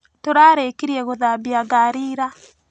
Tũrarĩkirie gũthambia ngari ira.